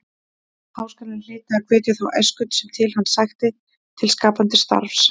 Háskólinn hlyti að hvetja þá æsku sem til hans sækti til skapandi starfs.